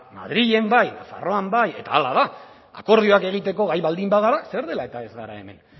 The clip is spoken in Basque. madrilen bai nafarroan bai eta hala da akordioak egiteko gai baldin bagara zer dela eta ez gara hemen